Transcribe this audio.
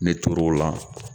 Ne tor'o la